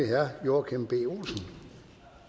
herre joachim b olsen